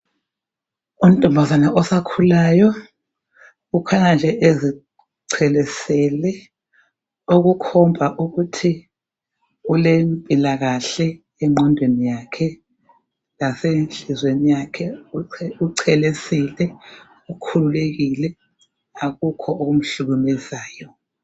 Untombazana osakhulayo ukhanya ezichelesele okukhomba ukuthi ulempilakahle enqondweni yakhe lasenhlizweni yakhe uchelesile, ukhululekile akukho okuhlukumezayo.